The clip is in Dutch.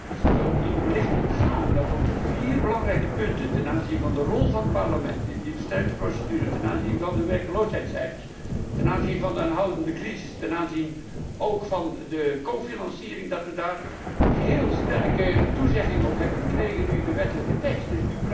Is het u wellicht ontgaan dat op de vier belangrijke punten ten aanzien van de rol van het Parlement, die versterkte procedure ten aanzien van de werkloosheidcijfers, ten aanzien van de aanhoudende crisis, ten aanzien ook van de medefinanciering, dat we daarover heel sterke toezeggingen hebben gekregen, nu in de wetstekst?